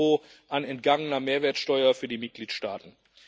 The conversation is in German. EUR an entgangener Mehrwertsteuer für die Mitgliedstaaten.